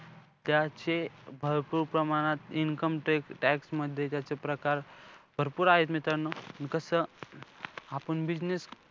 अ हे माझं अस म माझं कडक कायदा आणावा अस माझं मत नाहीये. लोकसंख्या आपली भारताची कमी होत आहे त्यामुळे जनाग्रुत जनजागृत जनजागरानातूच आपण लोकसंखेवर आवरा आणू शकतो असे माझे मत आहे.